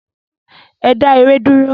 Ẹ dá ère dúró!